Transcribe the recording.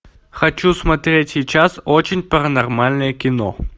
хочу смотреть сейчас очень паранормальное кино